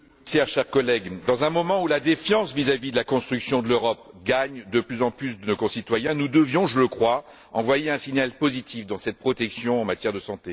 Madame la Présidente, dans un moment où la défiance vis vis de la construction de l'Europe gagne de plus en plus de nos concitoyens, nous devions, je le crois, envoyer un signal positif sur ce dossier de la protection en matière de santé.